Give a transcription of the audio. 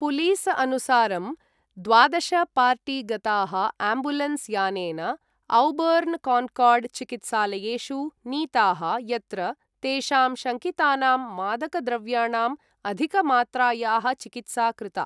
Police अनुसारं, द्वादश party गताः एम्बुलेन्स यानेन औबर्न् कॉन्कॉर्ड चिकित्सालयेषु नीताः यत्र तेषां शङ्कितानां मादक द्रव्याणां अधिक मात्रायाः चिकित्सा कृता।